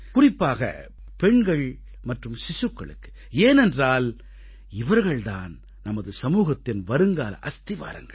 சிறப்பாக பெண்கள் மற்றும் சிசுக்களுக்கு ஏனென்றால் இவர்கள் தான் நமது சமூகத்தின் வருங்கால அஸ்திவாரங்கள்